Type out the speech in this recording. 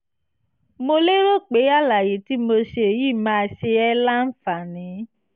mo lérò pé àlàyé tí mo ṣe yìí máa ṣe ẹ́ láǹfààní